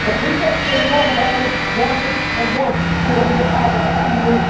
The people in the North of Ireland wanted, and want, to remain part of the EU.